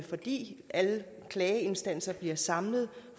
fordi alle klageinstanser bliver samlet